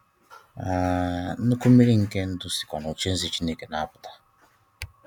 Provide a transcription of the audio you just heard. um Nnụkwụ mmiri nke ndụ sikwa n'ocheeze Chineke na-apụta.